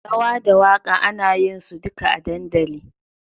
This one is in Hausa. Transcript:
Rawa da waka ana yinsu duka a dandali.